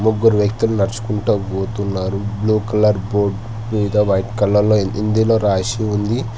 ముగ్గురు వ్యక్తులు నడుచుకుంట బోతున్నారు బ్లూ కలర్ బోర్డ్ మీద వైట్ కలర్లో హిందీలో రాసి ఉంది.